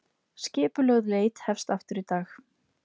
Skipulögð leit hefst aftur í dag